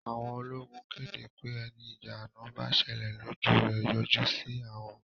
Àwọn ológun kéde pé ẹni ìjà àná bá ṣẹlẹ̀ lójú rẹ̀ yọjú sí àwọn